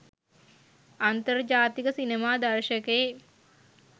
අන්තර්ජාතික සිනමා දර්ශකයේ